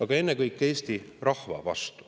aga ennekõike ei oleks ma aus Eesti rahva vastu.